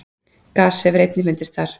gas hefur einnig fundist þar